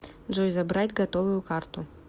джой забрать готовую карту